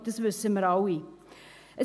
Ich glaube, das wissen wir alle.